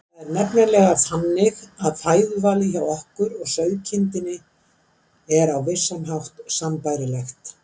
Það er nefnilega þannig að fæðuvalið hjá okkur og sauðkindinni er á vissan hátt sambærilegt.